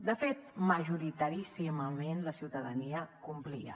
de fet majoritaríssimament la ciutadania complia